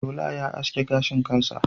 Shola yana aske gashin kansa.